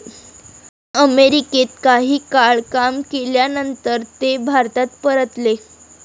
अमेरिकेत काही काळ काम केल्यानंतर ते भारतात परतले.